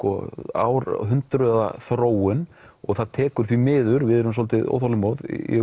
árhundruða þróun og það tekur því miður við erum svolítið óþolinmóð ég